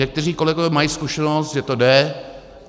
Někteří kolegové mají zkušenost, že to jde.